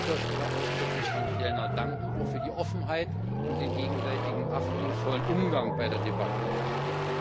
Ich möchte an dieser Stelle ausdrücklich Herrn Fjellner danken für die Offenheit und den gegenseitigen achtungsvollen Umgang bei der Debatte darüber.